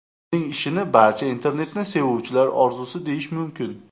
Uning ishini barcha internetni sevuvchilar orzusi deyish mumkin.